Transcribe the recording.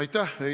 Aitäh!